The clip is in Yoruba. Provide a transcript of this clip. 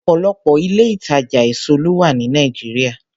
Ọ̀pọ̀lọpọ̀ ilé-ìtàjà èso ló wà ní Nàìjíríà.